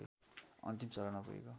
अन्तिम चरणमा पुगेको